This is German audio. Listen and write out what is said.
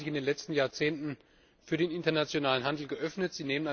Die Länder haben sich in den letzten Jahrzehnten für den internationalen Handel geöffnet.